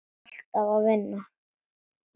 Ég er alltaf að vinna.